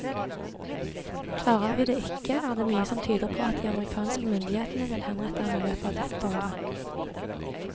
Klarer vi det ikke, er det mye som tyder på at de amerikanske myndighetene vil henrette ham i løpet av dette året.